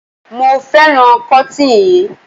mo fẹràn kotin yíi